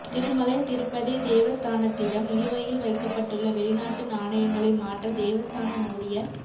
திருமலை திருப்பதி தேவஸ்தானத்திடம் நிலுவையில் வைக்கப்பட்டுள்ள வெளிநாட்டு நாணயங்களை மாற்ற தேவஸ்தானம் மூடிய